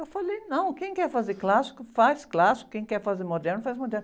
Eu falei, não, quem quer fazer clássico, faz clássico, quem quer fazer moderno, faz moderno.